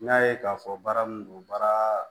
N y'a ye k'a fɔ baara mun do baara